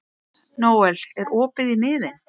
Nóel, er opið í Miðeind?